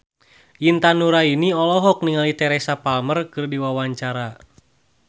Intan Nuraini olohok ningali Teresa Palmer keur diwawancara